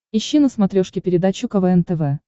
ищи на смотрешке передачу квн тв